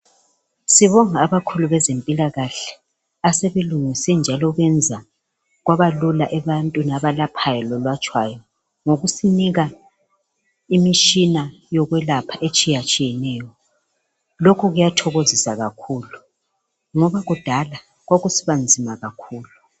Sibonga abakhulu bezempilakahle asebelungise njalo benza kwabalula ebantwini abalaphayo labalatshwayo ngokusinika imitshina yokwelapha etshiyatshiyeneyo. Lokho kuyathokozisa kakhulu ngoba kudala kwakusiba nzima kakhulu.